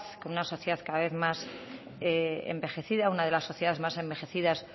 con una sociedad cada vez más envejecida una de las sociedades más envejecidas